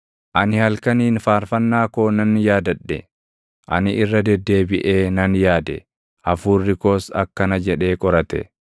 ani halkaniin faarfannaa koo nan yaadadhe. Ani irra deddeebiʼee na yaade; // hafuurri koos akkana jedhee qorate: